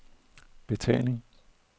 betaling